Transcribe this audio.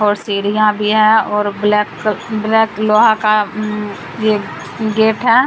और सीढ़ियां भी है और ब्लैक ब्लैक लोहा का ये गेट है।